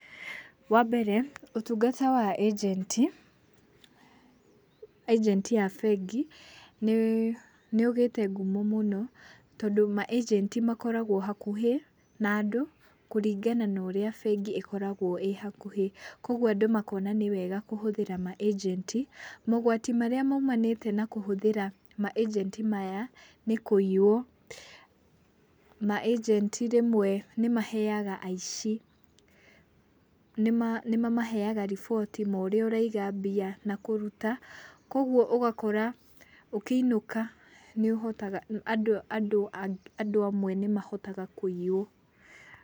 Wambere ũtungata wa ĩjenti, ĩjenti a bengi nĩ nĩũgĩte ngumo mũno tondũ maĩjenti makoragwo hakuhĩ na andũ kũringana naũrĩa bengi ĩkoragwo ĩ hakuhĩ koguo andũ makona nĩ wega kũhũthĩra maĩjenti. Mogwati marĩa maumanĩte na kũhũthĩra maĩjenti maya nĩ kũiyũo maejenti rĩmwe nĩmeheaga aici nĩma nĩmamahega riboti ma ũrĩa ũraiga mbia na kũruta kogua ũgakora ũkĩinũka nĩũhotaga andũ andũ andũ andũ amwe nĩmahotaga kũiyuo.